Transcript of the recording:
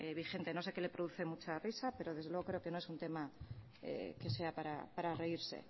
vigente no sé qué le produce mucha risa pero desde luego creo que no es un tema que sea para reírse